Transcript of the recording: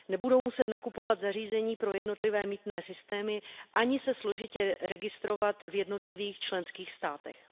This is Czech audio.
Nebudou muset nakupovat zařízení pro jednotlivé mýtné systémy ani se složitě registrovat v jednotlivých členských státech.